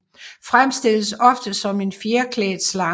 Fremstilles ofte som en fjerklædt slange